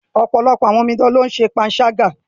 Ọ̀pọ̀lọpọ̀ àwọn omidan ní o ń ṣe panṣágà.